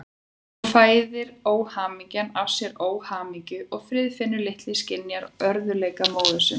Svo fæðir óhamingjan af sér óhamingju og Friðfinnur litli skynjar örðugleika móður sinnar.